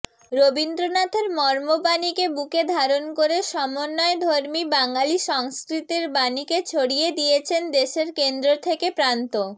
রবীন্দ্রনাথের মর্মবাণীকে বুকে ধারণ করে সমন্বয়ধর্মী বাঙালি সংস্কৃতির বাণীকে ছড়িয়ে দিয়েছেন দেশের কেন্দ্র থেকে প্রান্ত